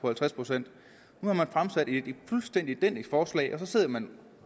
halvtreds procent nu har man fremsat et fuldstændig identisk forslag og så sidder man